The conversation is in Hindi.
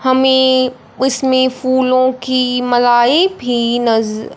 हमें उसमें फूलों की मलाई भी नज--